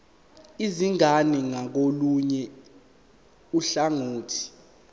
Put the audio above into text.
izingane ngakolunye uhlangothi